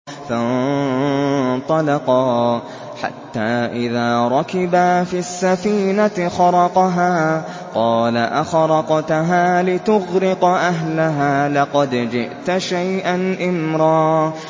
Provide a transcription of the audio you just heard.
فَانطَلَقَا حَتَّىٰ إِذَا رَكِبَا فِي السَّفِينَةِ خَرَقَهَا ۖ قَالَ أَخَرَقْتَهَا لِتُغْرِقَ أَهْلَهَا لَقَدْ جِئْتَ شَيْئًا إِمْرًا